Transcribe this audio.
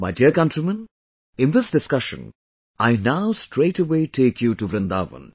My dear countrymen, in this discussion, I now straightaway take you to Vrindavan